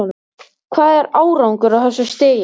Hvað er árangur á þessu stigi?